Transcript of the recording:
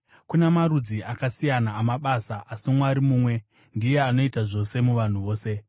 Kuna marudzi akasiyana amabasa, asi Mwari mumwe ndiye anoita zvose muvanhu vose.